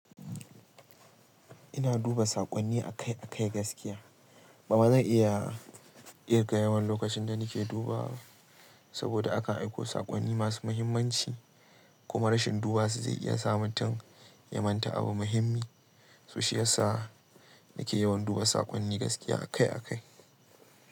Ina duba saƙonni akai-akai gaskiya. Bama zan iya kirga yawan lokacin da nake dubawa ba, saboda aka aiko saƙonni masu muhimmanci kuma rashin duba su zai iya sa mutum ya manta abu muhimmi. So, shiya sa nake yawan duba saƙonni gaskiya akai-akai.